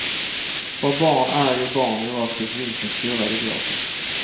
För barn är ju barn oavsett vilken skola de går på.